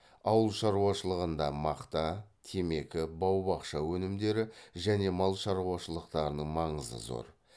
ауыл шаруашылығында мақта темекі бау бақша өнімдері және мал шаруашылықтарының маңызы зор